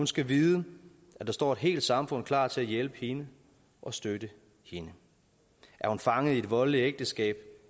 skal vide at der står et helt samfund klar til at hjælpe hende og støtte hende er hun fanget i et voldeligt ægteskab